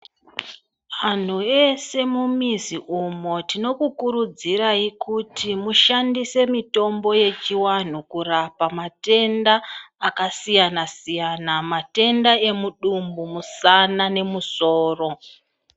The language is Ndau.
Anhu ese mumizi umo tinokukurudzirai kuti mushandise mitombo yechiwanhu kurapa matenda akasiyana-siyana, matenda emudumbu, musana nemusoro.